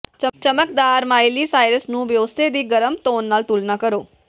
ਚਮਕਦਾਰ Miley Cyrus ਨੂੰ Beyonce ਦੀ ਗਰਮ ਤੋਨ ਨਾਲ ਤੁਲਨਾ ਕਰੋ